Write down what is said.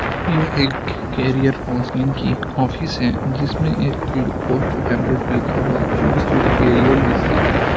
यह एक career counselling की ऑफिस है जिसमें एक पोस्टर पेंपलेट लिखा हुआ चूस योर करियर वाइसली --